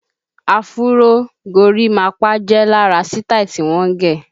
Afuró, gorímapá jẹ lára sítáì tí wọ́n ń gẹ̀